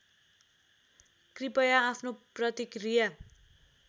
कृपया आफ्नो प्रतिक्रिया